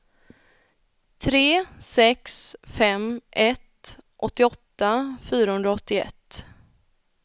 tre sex fem ett åttioåtta fyrahundraåttioett